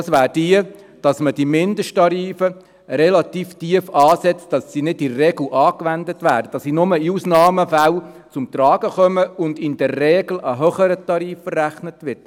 Das wäre die, dass man die Mindesttarife relativ tief ansetzt, sodass sie nicht in der Regel angewendet werden, sondern nur in Ausnahmefällen zum Tragen kommen und in der Regel ein höherer Tarif verrechnet wird.